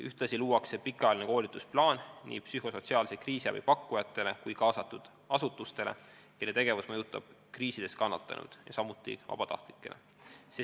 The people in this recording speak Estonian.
Ühtlasi luuakse pikaajaline koolitusplaan, mis on mõeldud nii psühhosotsiaalse kriisiabi pakkujatele kui ka kaasatud asutustele, kelle tegevus mõjutab kriisides kannatanuid, samuti vabatahtlikele.